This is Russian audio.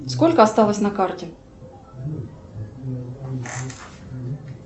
сколько осталось на карте